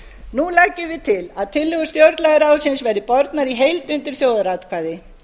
nú leggjum við til að tillögur stjórnlagaráðsins verði bornar í heild undir þjóðaratkvæði